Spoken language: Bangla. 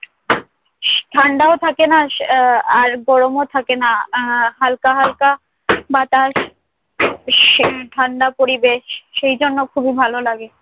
স~ ঠাণ্ডাও থাকে না আহ আর গরমও থাকে না আহ হাল্কা হাল্কা বাতাস ভীষণ ঠাণ্ডা পরিবেশ সেই জন্যে খুবই ভালো লাগে।